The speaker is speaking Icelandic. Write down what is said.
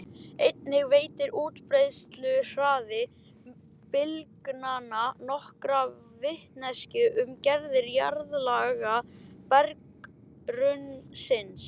Einnig veitir útbreiðsluhraði bylgnanna nokkra vitneskju um gerð jarðlaga berggrunnsins.